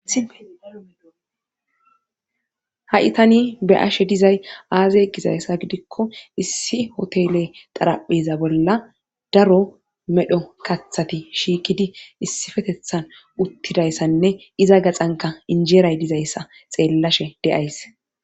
ha7i tani be7ashe dizay aazey gizayssa gidikko issi hotele xarapheza bolla daro medho kathati shiikidi issifetethan uttidayssanne iza gaxanka injeeray dizayssa xeellashe deays